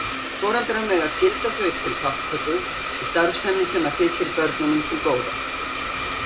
Foreldrar mega skylda þau til þátttöku í starfsemi sem þykir börnunum til góða.